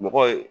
Mɔgɔ ye